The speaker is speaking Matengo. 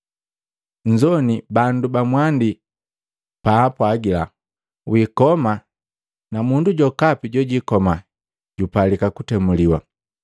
“Nnzoini bandu ba mwandi baapwagila, ‘Wikoma na mundu jokapi jojikoma jupalika kutemuliwa.’